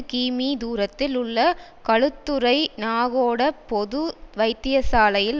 கிமீ தூரத்தில் உள்ள களுத்துறை நாகொட பொது வைத்தியசாலையில்